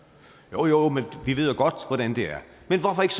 jo jo man får vi ved jo godt hvordan det er men hvorfor ikke